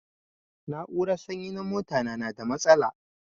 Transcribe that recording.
Na'urar sanyi na mota na yana da matsala.